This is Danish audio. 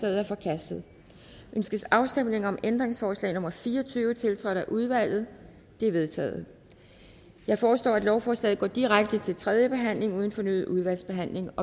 er forkastet ønskes afstemning om ændringsforslag nummer fire og tyve tiltrådt af udvalget det er vedtaget jeg foreslår at lovforslaget går direkte til tredje behandling uden fornyet udvalgsbehandling